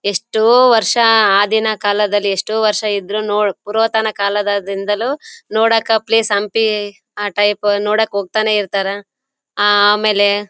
ಎಷ್ಟೋ ವರ್ಷ ಆ ದಿನ ಕಾಲದಲ್ಲಿ ಎಷ್ಟೋ ವರ್ಷ ಇದ್ರೂ ಪುರಾತನ ಕಾಲ ದಿಂದಲೂ ನೋಡಾಕ ಪ್ಲೇಸ್ ಹಂಪಿ ಆ ಟೈಪ್ ನೋಡಕ್ ಹೋಗ್ತಾ ನೇ ಇರ್ತಾರೆ. ಆಮೇಲೆ--